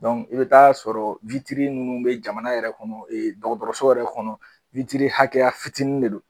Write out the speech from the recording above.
i bɛ t'a sɔrɔ ninnu bɛ jamana yɛrɛ kɔnɔ dɔgɔtɔrɔso yɛrɛ kɔnɔ hakɛya fitinin de don